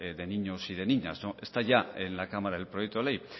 de niños y de niñas está ya en la cámara el proyecto de ley